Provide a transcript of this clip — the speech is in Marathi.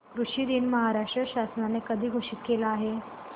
कृषि दिन महाराष्ट्र शासनाने कधी घोषित केला आहे